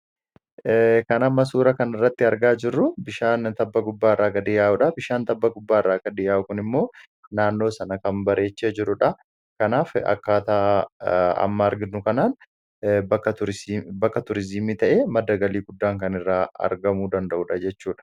Kan amma suura kana irratti argaa jirru bishaan tabba gubbaa irraa gadi yaa'udha. Bishaan tabba gubbaa irraa gadi yaa'u kun immoo naannoo sana kan bareechaa jirudha. Kanaaf akkaataa amma arginu kanaan bakka Turiizimii ta'ee madda galii guddaan kan irraa argamuu danda'udha jechuudha.